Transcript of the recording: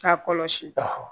K'a kɔlɔsi